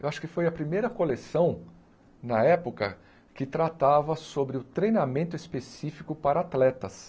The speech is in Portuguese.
Eu acho que foi a primeira coleção, na época, que tratava sobre o treinamento específico para atletas.